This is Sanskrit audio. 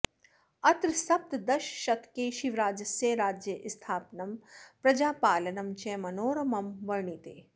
अत्र सप्तदशशतके शिवराजस्य राज्यस्थापनं प्रजापालनं च मनोरमं वर्णिते